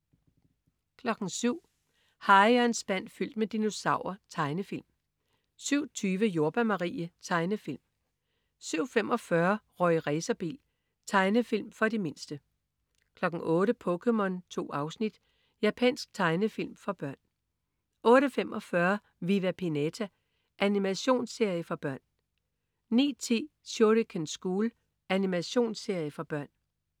07.00 Harry og en spand fyldt med dinosaurer. Tegnefilm 07.20 Jordbær Marie. Tegnefilm 07.45 Rorri Racerbil. Tegnefilm for de mindste 08.00 POKéMON. 2 afsnit. Japansk tegnefilm for børn 08.45 Viva Pinata. Animationsserie for børn 09.10 Shuriken School. Animationsserie for børn